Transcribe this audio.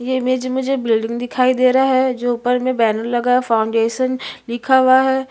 ये इमेज मे मुझे बिल्डिंग दिखाई दे रहा है जो ऊपर मे बैनर लगा है फॉउंडेशन लिखा हुआ है।